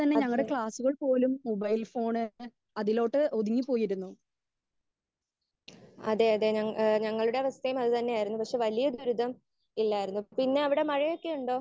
Speaker 1 അതെ ഏഹ് അതെ അതെ ഞങ്ങളുടെ അവസ്ഥയും അത് തന്നെയായിരുന്നു. പക്ഷെ വലിയ ദുരിതം ഇല്ലായിരുന്നു. പിന്നെ അവിടെ മഴയൊക്കെ ഉണ്ടോ?